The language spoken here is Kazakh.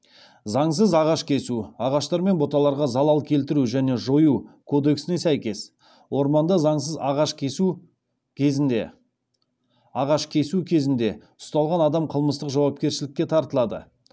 заңсыз ағаш кесу ағаштар мен бұталарға залал келтіру және жою кодексіне сәйкес орманда заңсыз ағаш кесу кезінде ұсталған адам қылмыстық жауапкершілікке тартылады